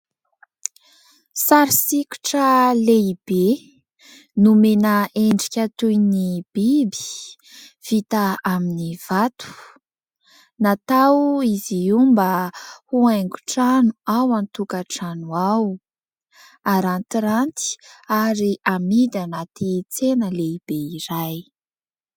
Sary sokitra lehibe, nomena endrika toy ny biby vita amin'ny vato. Natao izy io mba ho haingon-trano ao an-tokatrano ao. Arantiranty ary amidy anaty tsena lehibe iray.